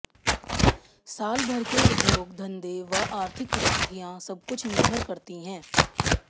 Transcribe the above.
साल भर के उद्योग धंधे व आर्थिक स्थितियां सबकुछ निर्भर करती है